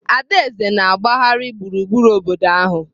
Adaeze na-agbagharị gburugburu obodo ahụ.